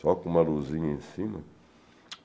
Só com uma luzinha em cima.